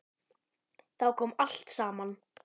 Þá kom allt saman.